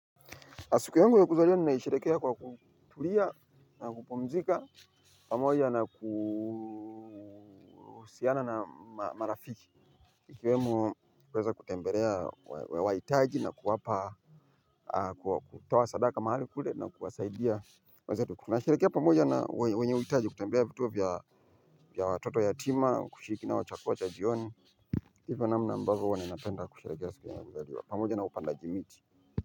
Siku yangu ya kuzaliwa ninaisherekea kwa kutulia na kupumzika pamoja na kusiana na marafiki. Ikiwemo kuweza kutembelea wa itaji na kuwapa kutoa sadaka mahali kule na kuwasaidia nasherekea pamoja na wenye uitaji kutembelea vituo vya watoto yatima kushiriki nao chakula cha jioni. Hivyo namna ambavo huwa ninapenda kushirekea sukiwa na mbeliwa pamoja na upandaji miti.